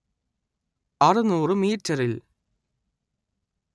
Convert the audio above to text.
അറുനൂറ് മീറ്ററിൽ